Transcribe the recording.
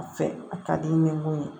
A fɛ a ka di i ye ni mun ye